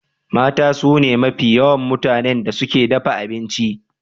Mata sune mafi yawa mutanen da suke dafa abinci.